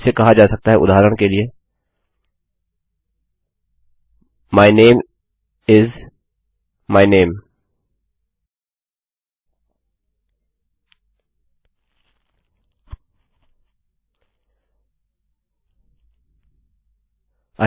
इसे कहा जा सकता है उदाहरण के लिए my name is my name